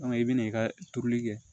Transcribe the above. i bɛ n'i ka turuli kɛ